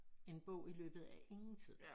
En bog i løbet af ingen tid